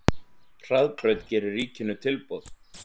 Hraðbraut gerir ríkinu tilboð